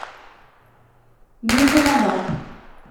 низамабад